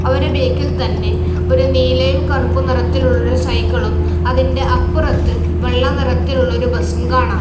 അവരുടെ ബാക്കിൽ തന്നെ ഒരു നീലയും കറുപ്പും നിറത്തിലുള്ളൊരു സൈക്കിളും അതിന്റെ അപ്പുറത്ത് വെള്ള നിറത്തിലുള്ളൊരു ബസ്സും കാണാം.